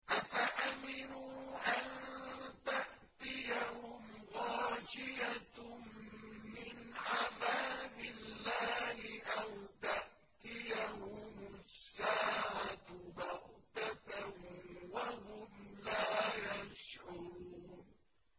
أَفَأَمِنُوا أَن تَأْتِيَهُمْ غَاشِيَةٌ مِّنْ عَذَابِ اللَّهِ أَوْ تَأْتِيَهُمُ السَّاعَةُ بَغْتَةً وَهُمْ لَا يَشْعُرُونَ